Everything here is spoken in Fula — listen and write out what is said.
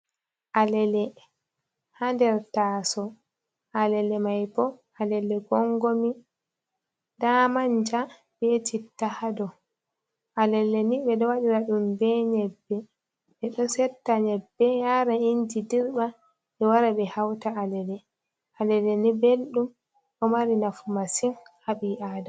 Alele ha nder ta'so alele mai bo alelle gongomi da manja be citta hado, alelleni ɓe ɗo waɗira ɗum be nyebbe ɓe ɗo sotta nyebbe yara inji dirɓa, ɓe wara ɓe hauta alele alelleni belɗum ɗo mari nafu masin haɓi a'dama.